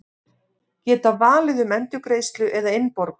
Geta valið um endurgreiðslu eða innborgun